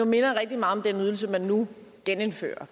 minder rigtig meget om den ydelse man nu genindfører